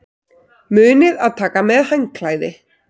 Munið að taka með handklæði!